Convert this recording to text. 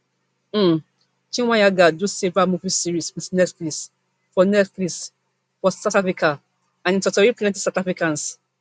um chweneyagae do several movie series wit netflix for netflix for south africa and e totori plenti south africans